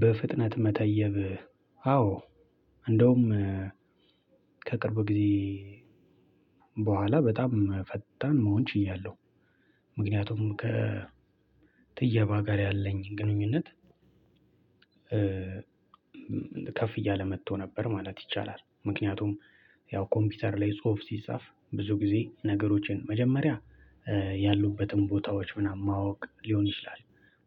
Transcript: በፍጥነት መተየብ አዎ እንደውም ከቅርብ ጊዜ በኋላ በጣም ፈጣን መሆን ችያለሁ። ምክንያቱም ከትየባ ጋር ያለኝ ግንኙነት ከፍ እያለ መቶ ነበር ማለት ይቻላል። ምክንያቱም ያው ኮምፒውተር ላይ ጽሁፍ ሲጻፍ ብዙ ጊዜ ነገሮችን መጀመሪያ ያሉበትን ቦታዎች ምናምን ማወቅ ሊሆን ይችላል።